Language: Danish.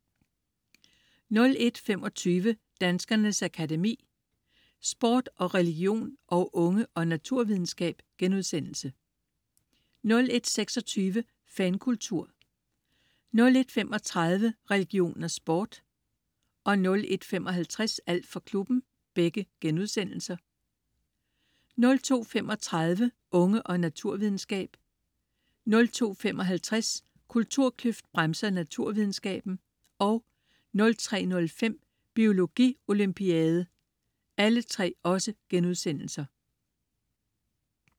01.25 Danskernes Akademi: Sport og religion & Unge og naturvidenskab* 01.26 Fankultur* 01.35 Religion og sport* 01.55 Alt for klubben* 02.35 Unge og naturvidenskab* 02.55 Kulturkløft bremser naturvidenskaben* 03.05 Biologi Olympiade*